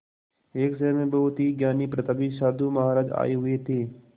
एक शहर में बहुत ही ज्ञानी प्रतापी साधु महाराज आये हुए थे